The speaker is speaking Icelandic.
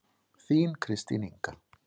Þín Kristín Inga.